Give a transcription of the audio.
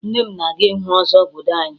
Nne m na-aga ịhụ ọzọ obodo anyị